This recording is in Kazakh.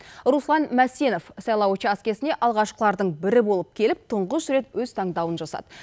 руслан мәсенов сайлау учаскесіне алғашқылардың бірі болып келіп тұңғыш рет өз таңдауын жасады